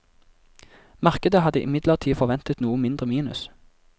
Markedet hadde imidlertid forventet noe mindre minus.